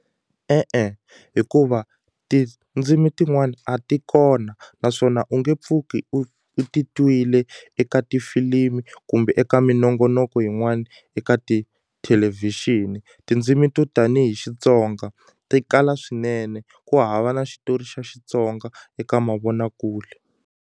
E-e hikuva tindzimi tin'wani a ti kona naswona u nge pfuki u u ti twile eka tifilimi kumbe eka minongonoko yin'wani eka tithelevhixini tindzimi to tanihi Xitsonga ti kala swinene ku hava na xitori xa Xitsonga eka mavonakule.